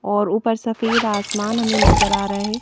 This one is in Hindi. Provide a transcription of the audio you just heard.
और ऊपर सफेद आसमान हमें नजर आ रहा है।